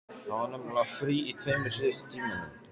Það var nefnilega frí í tveimur síðustu tímunum.